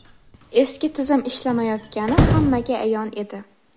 Eski tizim ishlamayotgani hammaga ayon edi.